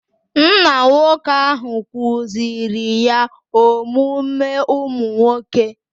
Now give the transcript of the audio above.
Nna nwoke ahụ kuziri ya omume ụmụ nwoke